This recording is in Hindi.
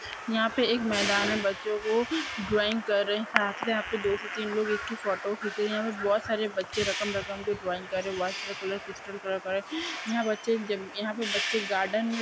यहाँ पे एक मैदान है बच्चों को ड्रॉइंग कर र हैं है दो से तीन लोग इनकी की फोटो खींच रही है बहुत सारे बच्चे रकम रकम की ड्रॉइंग कर रही है वॉटर कलर क्रिस्टल कलर यहाँ बच्चे यहाँ पे बच्चे गार्डन में--